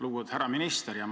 Lugupeetud härra minister!